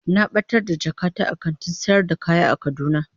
Na batar da jakata a kantin sayar da kaya a kaduna.